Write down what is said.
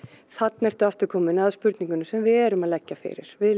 þarna ertu aftur komin að spurningunni sem við erum að leggja fyrir við